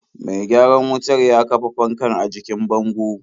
Mai gyaran wutar ya kafa fankar a jikin bango.